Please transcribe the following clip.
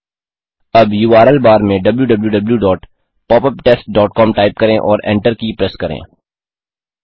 अब URL bar में wwwpopuptestcom type करें और Enter की प्रेस करें